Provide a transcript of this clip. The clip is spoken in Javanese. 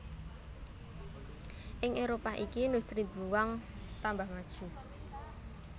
Ing Éropah iki industri dluwang tambah maju